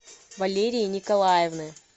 валерии николаевны